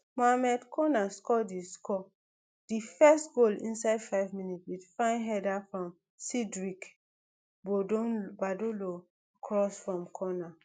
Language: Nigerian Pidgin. mohamed konat score di score di first goal inside five minutes wit fine header from cdric badolo cross from corner